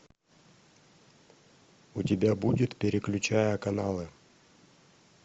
у тебя будет переключая каналы